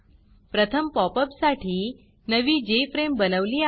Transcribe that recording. प्रथम pop up साठी नवी जेएफआरएमई बनवली आहे